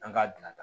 An ka dilanda